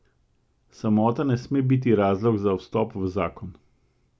Samota ne sme biti razlog za vstop v zakon.